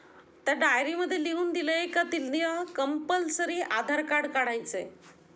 त्या डायरी मध्ये लिहून दिलय आहे कि not clear compulsory Aadhaar card काढायचं आहे.